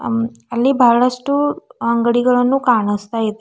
ಅಲ್ಲಿ ಬಹಳಷ್ಟು ಅಂಗಡಿಗಳನ್ನು ಕಾಣುಸ್ತಾ ಇದ್--